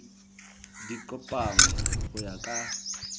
di kopanngwe go ya ka